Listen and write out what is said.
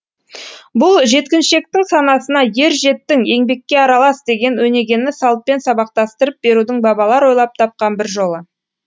бұл жеткіншектің санасына ер жеттің еңбекке аралас деген өнегені салтпен сабақтастырып берудің бабалар ойлап тапқан бір жолы